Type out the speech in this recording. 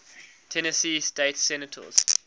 tennessee state senators